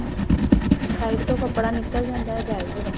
side ਤੋਂ ਕੱਪੜਾ ਨਿਕਲ ਜਾਂਦਾ ਹੈ belt ਦਾ